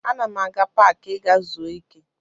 Ana m aga paakị ịga zuo ike